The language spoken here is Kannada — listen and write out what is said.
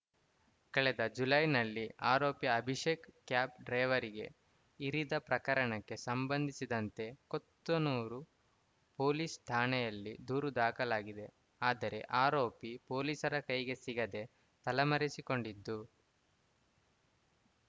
ಕಳೆದ ಜುಲೈನಲ್ಲಿ ಆರೋಪಿ ಅಭಿಷೇಕ್‌ ಕ್ಯಾಬ್‌ ಡ್ರೈವರ್‌ಗೆ ಇರಿದ ಪ್ರಕರಣಕ್ಕೆ ಸಂಬಂಧಿಸಿದಂತೆ ಕೊತ್ತನೂರು ಪೊಲೀಸ್‌ ಠಾಣೆಯಲ್ಲಿ ದೂರು ದಾಖಲಾಗಿದೆ ಆದರೆ ಆರೋಪಿ ಪೊಲೀಸರ ಕೈಗೆ ಸಿಗದೆ ತಲೆಮರೆಸಿಕೊಂಡಿದ್ದು